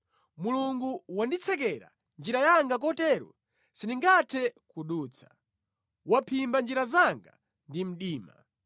Mulungu wanditsekera njira yanga kotero sindingathe kudutsa; waphimba njira zanga ndi mdima.